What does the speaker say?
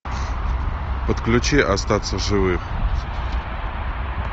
подключи остаться в живых